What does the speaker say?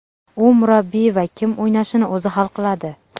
U murabbiy va kim o‘ynashini o‘zi hal qiladi.